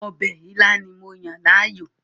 Ọbẹ̀ ilá ni mo yàn láàyò